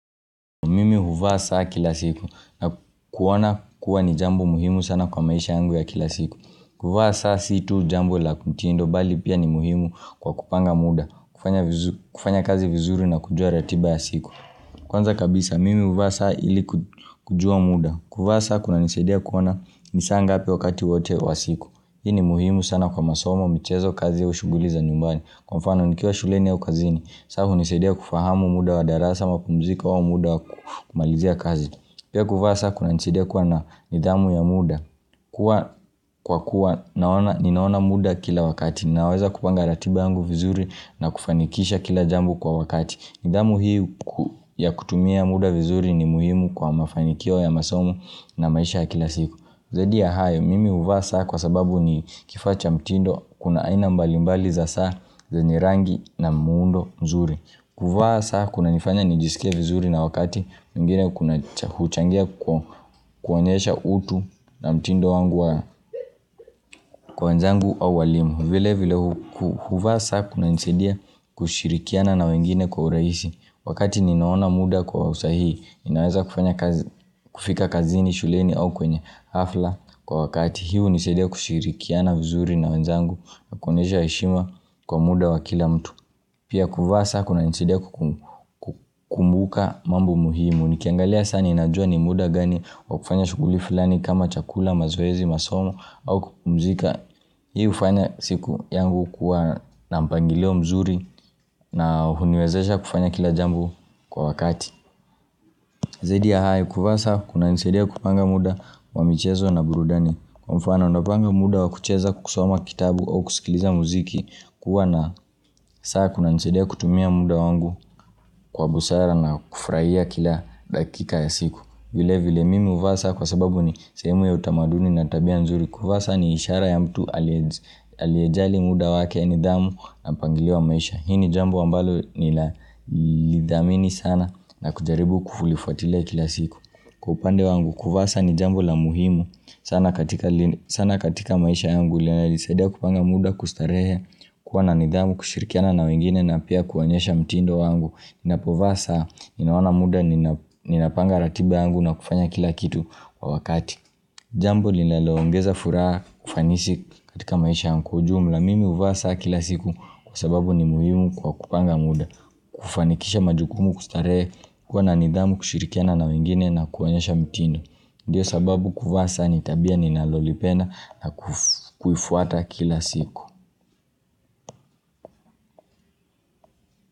Mimi huvaa saa kila siku na kuona kuwa ni jambo muhimu sana kwa maisha yangu ya kila siku kuvaa saa situ jambo la mtindo bali pia ni muhimu kwa kupanga muda kufanya kazi vizuri na kujua ratiba ya siku Kwanza kabisa mimi huvaa saa ili kujua muda kuvaa saa kuna nisaidia kuona nisaa ngapi wakati wote wa siku Hii ni muhimu sana kwa masomo michezo kazi au shuguli za nyumbani Kwa mfano nikiwa shuleni au kazini saa hunisaidia kufahamu muda wa darasa mapumziko au muda wa kumalizia kazi Pia kuvaa saa kunanisaidia kuwa na nidhamu ya muda Kwa kuwa ninaona muda kila wakati Naweza kupanga ratiba yangu vizuri na kufanikisha kila jambo kwa wakati nidhamu hii ya kutumia muda vizuri ni muhimu kwa mafanikio ya masomo na maisha ya kila siku Zaidi ya hayo, mimi huvaa saa kwa sababu ni kifaa cha mtindo kuna aina mbali mbali za saa zenye rangi na muundo mzuri. Kuvaa saa kuna nifanya nijisikie vizuri na wakati mwingine kuna huchangia kuonyesha utu na mtindo wangu wa kwa wenzangu au walimu. Vile vile huvaa saa kuna nisaidia kushirikiana na wengine kwa urahisi. Wakati ninaona muda kwa usahihi, ninaweza kufika kazini, shuleni au kwenye hafla Kwa wakati hii hunisaidia kushirikiana vizuri na wenzangu Nakuonyesha heshima kwa muda wa kila mtu Pia kuvaa saa kuna nisaidia kukumbuka mambo muhimu Nikiangalia saa ninajua ni muda gani wakufanya shughuli filani kama chakula, mazoezi, masomo au kupumzika Hii hufanya siku yangu kuwa na mpangilio mzuri na huniwezesha kufanya kila jambo kwa wakati Zaidi ya hayo kuvaa saa kuna nisaidia kupanga muda wa michezo na burudani Kwa mfano napanga muda wa kucheza kusoma kitabu au kusikiliza muziki kuwa na saa kuna nisaidia kutumia muda wangu kwa busara na kufurahia kila dakika ya siku vile vile mimi huvaa saa kwa sababu ni sehemu ya utamaduni na tabia nzuri kuvaa saa ni ishara ya mtu aliyejali muda wake nidhamu na mpangilio wa maisha Hii ni jambo ambalo ninalidhamini sana na kujaribu kulifuatilia kila siku Kwa upande wangu kuvaa saa ni jambo la muhimu sana katika maisha yangu ile ina nisaidia kupanga muda kustarehe kuwa na nidhamu kushirikiana na wengine na pia kuonyesha mtindo wangu Ninapovaa saa ninaona muda ninapanga ratiba yangu na kufanya kila kitu kwa wakati Jambo linaloongeza furaha kufanisi katika maisha na kwa ujumla mimi huvaa saa kila siku kwa sababu ni muhimu kwa kupanga muda kufanikisha majukumu kustarehe kuwa na nidhamu kushirikiana na wengine na kuonyesha mtindo. Ndiyo sababu kuvaa saa ni tabia ni nalolipenda na kufuata kila siku.